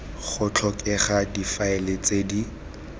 go tlhokega difaele tse di